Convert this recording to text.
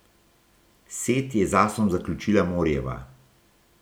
Set je z asom zaključila Morijeva.